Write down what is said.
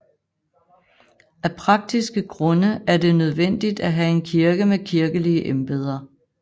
Af praktiske grunde er det nødvendigt at have en kirke med kirkelige embeder